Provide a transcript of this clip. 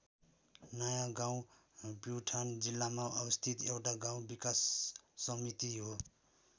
नयाँ गाउँ प्युठान जिल्लामा अवस्थित एउटा गाउँ विकास समिति हो।